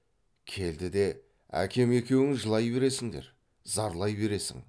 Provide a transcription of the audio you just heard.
келді де әкем екеуің жылай бересіңдер зарлай бересің